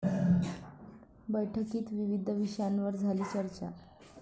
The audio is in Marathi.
बैठकीत विविध विषयांवर झाली चर्चा